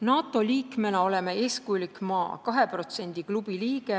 NATO liikmena oleme eeskujulik maa, 2% klubi liige.